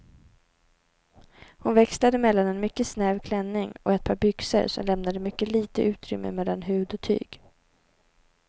Hon växlade mellan en mycket snäv klänning och ett par byxor som lämnade mycket lite utrymme mellan hud och tyg.